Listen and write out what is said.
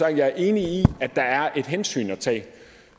at jeg er enig i at der er et hensyn at tage